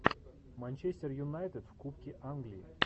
манчестер юнайтед в кубке англии